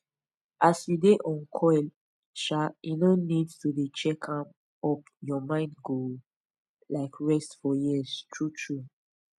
as u dey on coil um e no need to dey check am up ur mind go um rest for years true true